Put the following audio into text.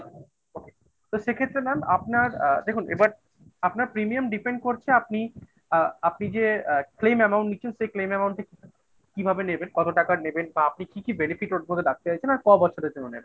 তো সেক্ষেত্রে mam আপনার আ দেখুন এবার আপনার Premium depend করছে আপনি আ আপনি যে আ claim amount নিচ্ছেন সেই claim amount কিভাবে নেবেন? কত টাকা নেবেন বা আপনি কি কি benefit ওর মধ্যে রাখতে চাইছেন? আর ক বছরের জন্য নেবেন?